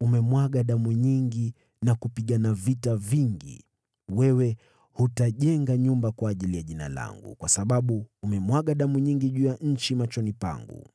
umemwaga damu nyingi na kupigana vita vingi. Wewe hutajenga nyumba kwa ajili ya Jina langu, kwa sababu umemwaga damu nyingi juu ya nchi machoni pangu.